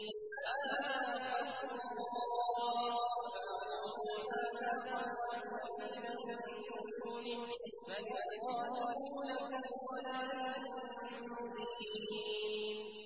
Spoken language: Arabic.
هَٰذَا خَلْقُ اللَّهِ فَأَرُونِي مَاذَا خَلَقَ الَّذِينَ مِن دُونِهِ ۚ بَلِ الظَّالِمُونَ فِي ضَلَالٍ مُّبِينٍ